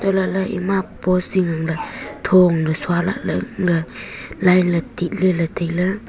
untoh lahley ema post zing angley thoong ley sua lahley ga line ley titleley tailey.